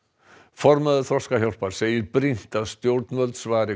formaður Þroskahjálpar segir brýnt að stjórnvöld svari